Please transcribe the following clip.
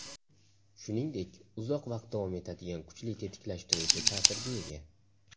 Shuningdek, uzoq vaqt davom etadigan kuchli tetiklashtiruvchi ta’sirga ega.